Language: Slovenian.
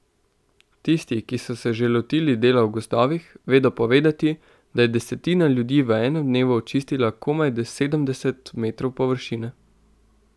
Tisti, ki so se že lotili dela v gozdovih, vedo povedati, da je desetina ljudi v enem dnevu očistila komaj sedemdeset metrov površine.